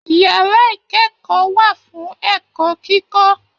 Yàrá ikẹkọọ wà fún ẹ̀kọ́ kíkọ.